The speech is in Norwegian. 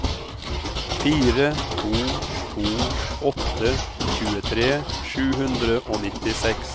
fire to to åtte tjuetre sju hundre og nittiseks